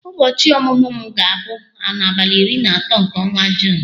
Ụbọchị ọmụmụ m ga-abụ n'abalị iri na atọ nke ọnwa Juun.